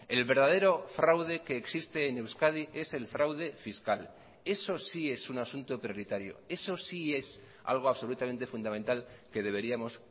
el verdadero fraude que existe en euskadi es el fraude fiscal eso sí es un asunto prioritario eso sí es algo absolutamente fundamental que deberíamos